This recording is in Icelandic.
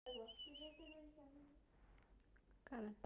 Það var svo sem ekki í hans verkahring að dæma þá sem keyptu af honum.